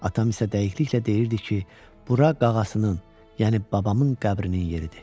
Atam isə dəqiqliklə deyirdi ki, bura qağasının, yəni babamın qəbrinin yeridir.